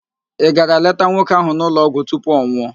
Ị gara leta nwoke ahụ n'ụlọọgwụ tupu ọ nwụọ?